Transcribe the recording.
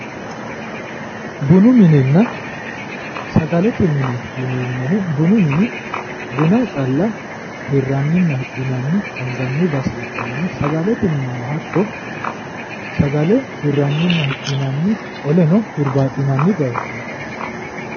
Bunu minenna sagalete mine yineemmohu bunu mini buna calla hirranninna hidhinanni anganni base ikkanna sagalete minino hatto sagale hirrannina hidhinanni qoleno huribaaxinanni bayichooti.